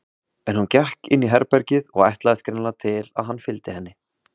En hún gekk inn í herbergið og ætlaðist greinilega til að hann fylgdi henni.